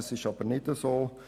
Das ist aber nicht so.